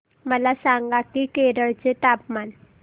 मला सांगा की केरळ चे तापमान